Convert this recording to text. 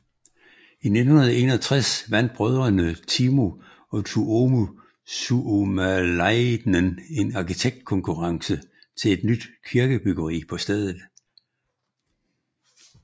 I 1961 vandt brødrene Timo og Tuomo Suomalainen en arkitektkonkurrence til et nyt kirkebyggeri på stedet